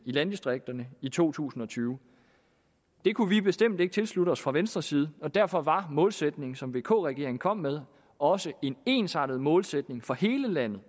landdistrikterne i to tusind og tyve det kunne vi bestemt ikke tilslutte os fra venstres side og derfor var målsætningen som vk regeringen kom med også en ensartet målsætning for hele landet